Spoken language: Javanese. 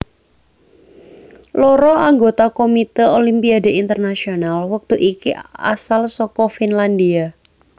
Loro anggota Komite Olimpiade Internasional wektu iki asal saka Finlandia